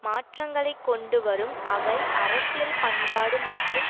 மாற்றங்களை கொண்டு வரும் அவை அரசியல் பண்பாடு மற்றும்